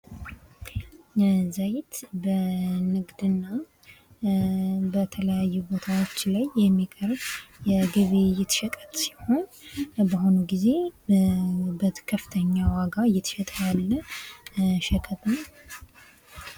ዘይት በንግድና በተለያዩ ቦታዎች ላይ የሚቀርብ የግብይት ሸቀጥ ሲሆን በአሁኑ ጊዜ በከፍተኛ ዋጋ እየተሸጠ ያለ ሸቀጥ ነው ።